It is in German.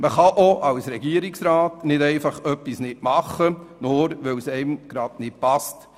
Auch als Regierungsrat kann man nicht man etwas nicht umsetzen, nur weil es einem gerade nicht passt.